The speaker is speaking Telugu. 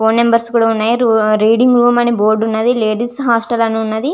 ఫోన్ నంబర్స్ కూడా వున్నాయి. రీడింగ్ రూమ్ అని కూడా వుంది లేడీస్ హాస్టల్ అని వున్నాది.